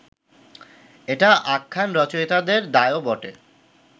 এটা আখ্যান রচয়িতার দায়ও বটে